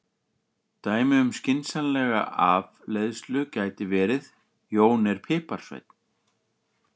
Dæmi um skynsamlega afleiðslu gæti verið: Jón er piparsveinn.